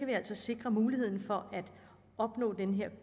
vi altså sikre muligheden for at opnå den her